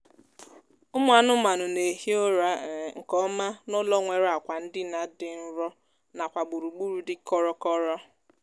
ụmụ anụmanụ na-ehi ụra um nkeọma n'ụlọ nwere akwa ndina dị nro nakwa gburugburu dị kọrọ kọrọ